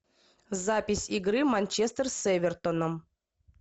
запись игры манчестер с эвертоном